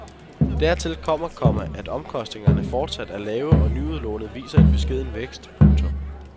Dertil kommer, komma at omkostningerne fortsat er lave og nyudlånet viser en beskeden vækst. punktum